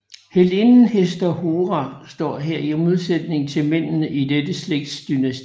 Heltinden Hester Hora står heri i modsætning til mændene i dette slægtsdynasti